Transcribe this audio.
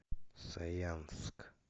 саянск